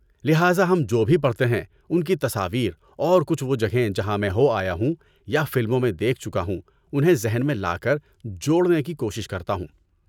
لہذا ہم جو بھی پڑھتے ہیں میں ان کی تصاویر اور کچھ وہ جگہیں جہاں میں ہو آیا ہوں یا فلموں میں دیکھ چکا ہوں انہیں ذہن میں لا کر جوڑنے کی کوشش کرتا ہوں۔